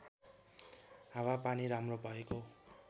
हावापानी राम्रो भएको